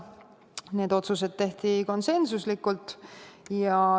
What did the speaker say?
Need otsused tehti konsensuslikult.